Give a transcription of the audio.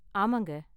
ஆமாங்க!